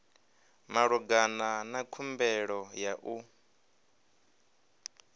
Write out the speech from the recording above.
malugana na khumbelo ya u